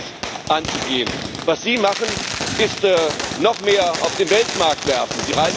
Das gilt es, anzugehen. Was Sie machen, ist, noch mehr auf den Weltmarkt zu werfen.